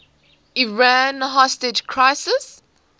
iran hostage crisis